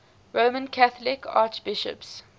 roman catholic archbishops